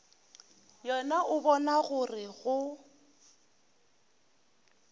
yena o bona gore go